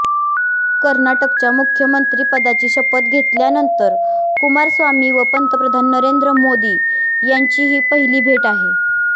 कर्नाटकच्या मुख्यमंत्रिपदाची शपथ घेतल्यानंतर कुमारस्वामी व पंतप्रधान नरेंद्र मोदी यांची ही पहिली भेट आहे